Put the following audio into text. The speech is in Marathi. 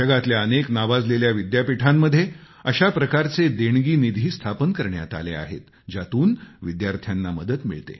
जगातल्या अनेक नावाजलेल्या विद्यापीठांमध्ये अशा प्रकारचे देणगी निधी स्थापन करण्यात आले आहेत ज्यातून विद्यार्थ्यांना मदत मिळते